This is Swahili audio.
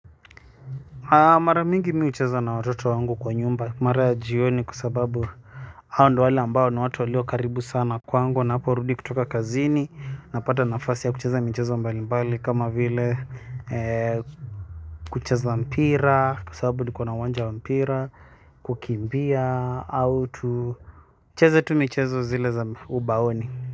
A mara mingi mi ucheza na watoto wangu kwa nyumba mara ya jioni kwa sababu hao ndo wale ambao ni watu walio karibu sana kwangu naporudi kutoka kazini napata nafasi ya kucheza michezo mbali mbali kama vile kucheza mpira kwa sababu nikona uwanja wa mpira kukimbia au tu tucheze tu michezo zile za ubaoni.